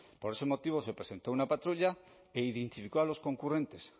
por ese motivo se presentó una patrulla e identificó a los concurrentes